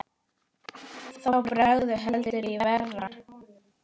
Þá bregður heldur í verra.